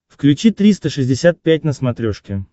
включи триста шестьдесят пять на смотрешке